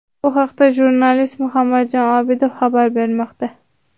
Bu haqda jurnalist Muhammadjon Obidov xabar bermoqda.